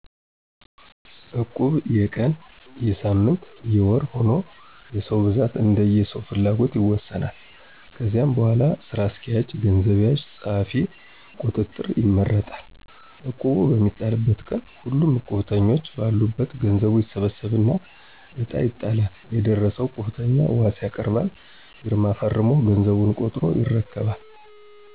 እቁብ የቀን: የሳምንት :የወር ሁኖ የሰው ብዛት እንደየሰዉፍላጎትይወሰናል። ከዚያ በሗላ ስራ አስኪያጅ፣ ገንዘብ ያዥ፣ ፀሀፊ፣ ቁጥጥር ይመረጣል። እቁቡ በሚጣልበት ቀን ሁሉም እቁብተኞ በአሉበት ገዘቡ ይሠበሠብና እጣ ይጣላል የደረሠው እቁብተኛ ዋስ ያቀርባል ፊርማ ፈረሞ ገዘቡን ቆጥሮ ይረከባል።